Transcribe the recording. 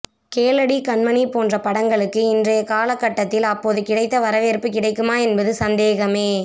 கேளடி கண்மணி போன்ற படங்களுக்கு இன்றைய காலகட்டத்தில் அப்போது கிடைத்த வரவேற்பு கிடைக்குமா என்பது சந்தேகமே